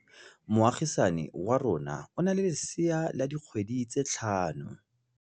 Moagisane wa rona o na le lesea la dikgwedi tse tlhano.